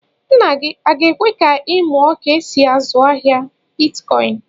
Nna gị a ga-èkwé ka ị muọ ka e sị azụ ahịa bịtkọin?